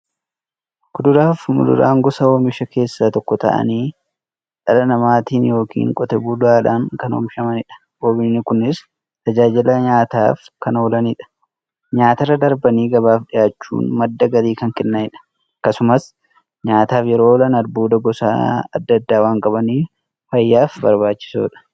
Kuduraafi muduraan gosa oomishaa keessaa tokko ta'anii, dhala namaatin yookiin Qotee bulaadhan kan oomishamaniidha. Oomishni Kunis, tajaajila nyaataf kan oolaniifi nyaatarra darbanii gabaaf dhiyaachuun madda galii kan kennaniidha. Akkasumas nyaataf yeroo oolan, albuuda gosa adda addaa waan qabaniif, fayyaaf barbaachisoodha.